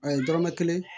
A ye dɔrɔmɛ kelen